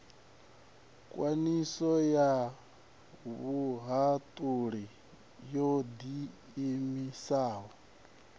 khwiniso ya vhuhaṱuli ho ḓiimisaho